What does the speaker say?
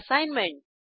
assignment